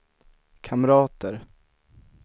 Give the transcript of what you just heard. kamrater